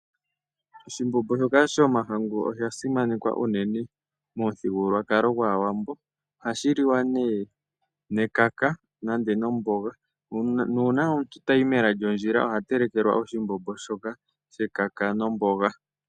Oshimbombo shoka shomahangu osha simanekwa uunene momuthigululwakalo gwaawambo. Ohashi li wa ne nekaka nande nomboga, nuuna omuntu tayi mela lyondjila oha telekelwa oshimbombo shoka shekaka nomboga.